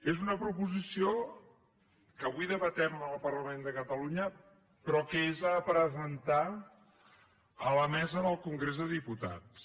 és una proposició que avui debatem en el parlament de catalunya però que és a presentar a la mesa del congrés dels diputats